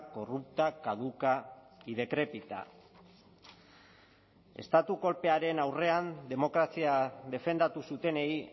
corrupta caduca y decrépita estatu kolpearen aurrean demokrazia defendatu zutenei